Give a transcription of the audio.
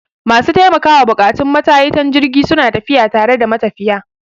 Masu taimakawa buƙatun matayitan jirgi suna tafiya tare da matafiya.